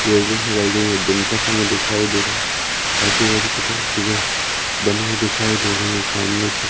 दिन का समय दिखाई दे रहा है। आजू बाजू बनी हुई दिखाई दे रही है। सामने की--